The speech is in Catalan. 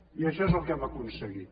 i això és el que hem aconseguit